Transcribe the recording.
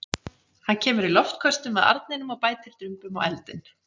Hann kemur í loftköstum að arninum og bætir drumbum á eldinn.